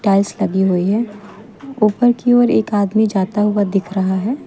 Tiles लगी हुई है ऊपर की ओर एक आदमी जाता हुआ दिख रहा है।